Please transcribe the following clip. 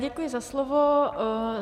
Děkuji za slovo.